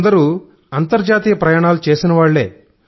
లందరూ అంతర్జాతీయ ప్రయాణాలు చేసే వాళ్లే